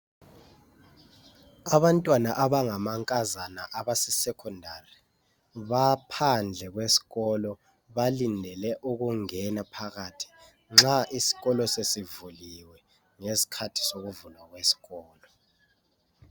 Abantwana abangamankazana abasesecondary baphandle kwesikolo balinde ukungena phakathi nxa isikolo sesivulile ngesikhathi sokuvula isikolo.